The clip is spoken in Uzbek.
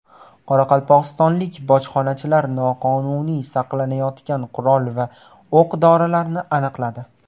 Qoraqalpog‘istonlik bojxonachilar noqonuniy saqlanayotgan qurol va o‘q-dorilarni aniqladi.